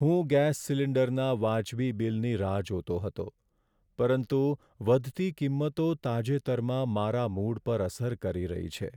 હું ગેસ સિલિન્ડરના વાજબી બિલની રાહ જોતો હતો, પરંતુ વધતી કિંમતો તાજેતરમાં મારા મૂડ પર અસર કરી રહી છે.